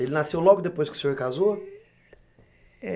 Ele nasceu logo depois que o senhor casou?